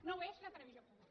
no ho és la televisió pública